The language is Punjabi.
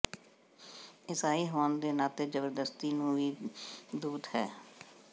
ਈਸਾਈ ਹੋਣ ਦੇ ਨਾਤੇ ਜ਼ਬਰਦਸਤੀ ਨੂੰ ਵੀ ਦੂਤ ਹੈ